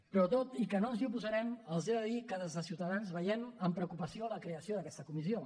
però tot i que no ens hi oposarem els he de dir que des de ciutadans veiem amb preocupació la creació d’aquesta comissió